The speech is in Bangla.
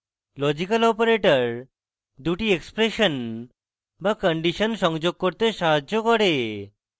লজিক্যাল operators দুটি এক্সপ্রেশন বা কন্ডিশন সংযোগ করতে সাহায্য করে